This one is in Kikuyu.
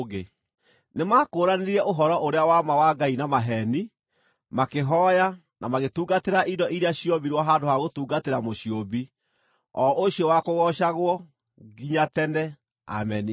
Nĩmakũũranirie ũhoro-ũrĩa-wa-ma wa Ngai na maheeni, makĩhooya na magĩtungatĩra indo iria ciombirwo handũ ha gũtungatĩra Mũciũmbi, o ũcio wa kũgoocagwo nginya tene. Ameni.